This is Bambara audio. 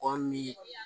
Kɔ min